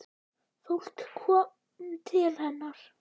Fólk kom til hennar.